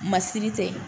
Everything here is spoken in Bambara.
Masiri tɛ